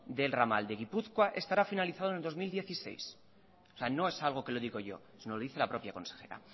del ramal de gipuzkoa estará finalizado en dos mil dieciséis o sea no es algo que lo digo yo sino lo dice la propia consejera